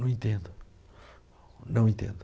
Não entendo, não entendo.